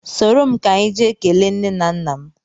Soro m ka anyị jee kelee nne m na nna m